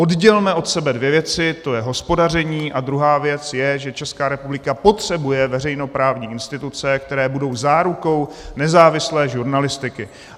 Oddělme od sebe dvě věci, to je hospodaření a druhá věc je, že Česká republika potřebuje veřejnoprávní instituce, které budou zárukou nezávislé žurnalistiky.